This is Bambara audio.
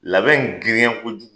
Labɛn girinya kojugu